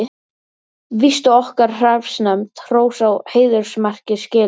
Víst á okkar hreppsnefnd hrós og heiðursmerki skilið.